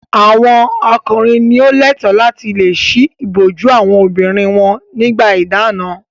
Àwọn ọkùnrin ni ó lẹ́ẹ̀tọ́ láti le ṣí ìbòjú àwọn obìnrin wọn nígbà ìdáná.